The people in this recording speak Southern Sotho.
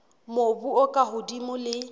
mobu o ka hodimo le